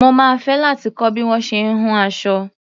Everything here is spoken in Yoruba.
Mo máa fẹ́ láti kọ́ bí wọ́n ṣe ń hun aṣọ.